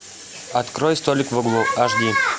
открой столик в углу аш ди